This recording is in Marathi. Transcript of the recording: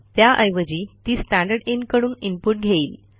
त्याऐवजी ती स्टँडरदिन कडून इनपुट घेईल